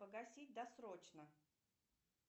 погасить досрочно